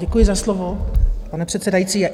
Děkuji za slovo, pane předsedající.